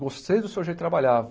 Gostei do seu jeito de trabalhar.